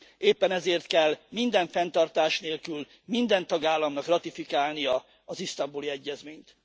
Éppen ezért kell minden fenntartás nélkül minden tagállamnak ratifikálnia az Isztambuli Egyezményt.